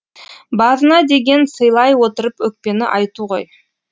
базына деген сыйлай отырып өкпені айту ғой